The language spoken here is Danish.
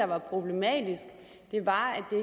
var problematisk var at det